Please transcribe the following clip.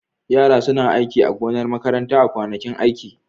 Yara suna aiki a gonar makaranta a kwanakin aiki.